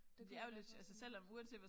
Det kunne være sådan